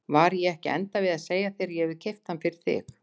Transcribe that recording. Var ég ekki að enda við að segja að ég hefði keypt hann fyrir þig?